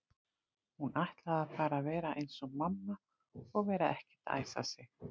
Hún ætlaði bara að vera eins og mamma og vera ekkert að æsa sig.